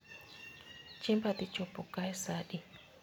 Chiemba dhi chopo kae saa adi